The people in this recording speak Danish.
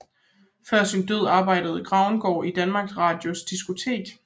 Før sin død arbejdede Grauengaard i Danmarks Radios diskotek